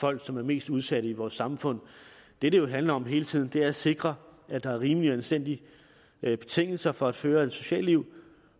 folk som er mest udsatte i vores samfund det det jo handler om hele tiden er at sikre at der er rimelige og anstændige betingelser for at føre et socialt liv